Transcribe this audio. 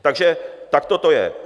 Takže takto to je.